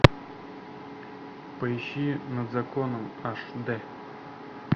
поищи над законом аш дэ